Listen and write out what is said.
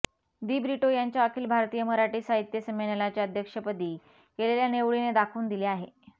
दिब्रिटो यांच्या अखिल भारतीय मराठी साहित्य संमेलनाच्या अध्यक्षपदी केलेल्या निवडीने दाखवून दिले आहे